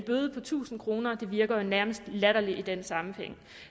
bøde på tusind kr virker jo nærmest latterligt i den sammenhæng